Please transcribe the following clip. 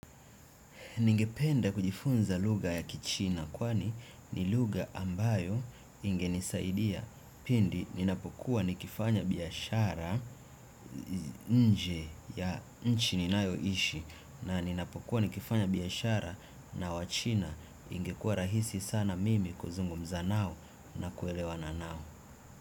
Ningependa kujifunza lugha ya kichina kwani ni lugha ambayo ingenisaidia pindi ninapokuwa nikifanya biashara nje ya nchi ninayoishi na ninapokuwa nikifanya biashara na wachina ingekuwa rahisi sana mimi kuzungumza nao na kuelewana nao.